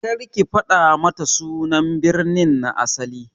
Kar ki fada mata sunan birnin na asali!